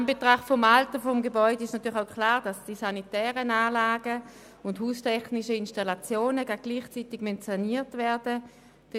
In Anbetracht des Alters der Gebäude ist auch klar, dass die sanitären Anlagen und die haustechnischen Installationen gleichzeitig saniert werden müssen.